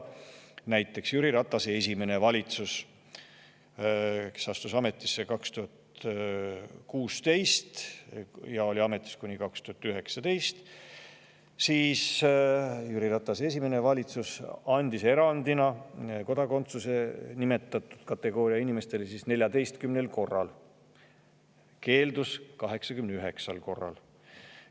Näiteks, Jüri Ratase esimene valitsus, mis astus ametisse 2016. aastal ja oli ametis kuni 2019. aastani, andis nimetatud kategooria inimestele kodakondsuse erandina 14 korral ja keeldus sellest 89 korral.